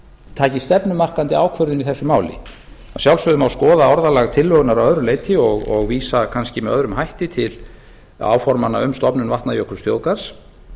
taki stefnumarkandi ákvörðun í þessu máli að sjálfsögðu má skoða orðalag tillögunnar að öðru leyti og vísa kannski með öðrum hætti til áformanna um stofnun vatnajökulsþjóðgarðs